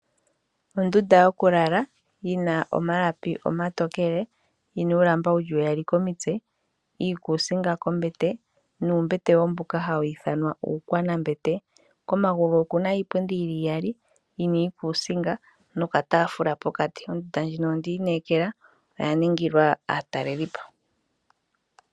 Ondunda yokulala yina omalapi omatokele yina uulamba wuli uyali komitse, iikusinga kombete nuumbete mboka hawu ithanwa uukwana mbete komagulu okuna iipundi yili iyali yina iikusinga noka tafula pokati ondunda ndjino ondi inekela oyaningilwa aatalelipo.